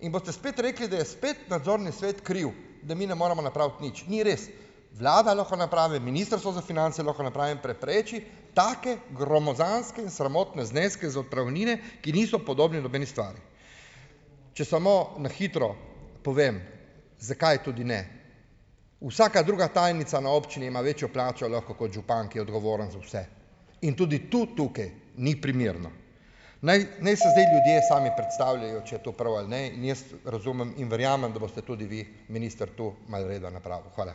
In boste spet rekli, da je spet nadzorni svet kriv, da mi ne moremo napraviti nič - ni res, vlada lahko napravi, Ministrstvo za finance lahko napravi in prepreči take gromozanske in sramotne zneske za odpravnine, ki niso podobni nobeni stvari. Če samo na hitro povem, zakaj tudi ne. Vsaka druga tajnica na občini ima večjo plačo lahko kot župan, ki je odgovoren za vse in tudi tu tukaj ni primerno. Naj naj si zdaj ljudje sami predstavljajo, če je to prav ali ne, in jaz razumem in verjamem, da boste tudi vi minister tu malo reda napravil. Hvala.